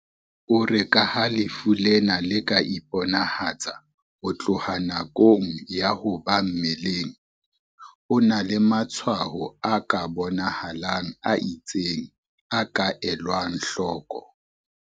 O re ka ha lefu lena le ka iponahatsa ho tloha nakong ya ho ba mmeleng, ho na le matshwaho a bona halang a itseng a ka elwang hloko."